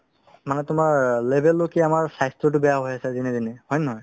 মানে তোমাৰ অ level লৈকে আমাৰ স্বাস্থ্যতো বেয়া হৈ আছে যেনেতেনে হয় নে নহয়